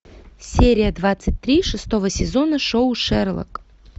серия двадцать три шестого сезона шоу шерлок